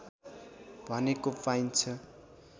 भनेको पाइन्छ